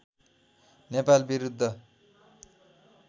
नेपाल विरूद्ध